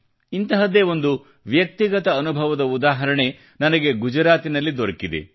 ಇಂತಹದ್ದೇ ಒಂದು ವ್ಯಕ್ತಿಗತ ಅನುಭವದ ಉದಾಹರಣೆ ನನಗೆ ಗುಜರಾತಿನಲ್ಲಿ ದೊರೆತಿದೆ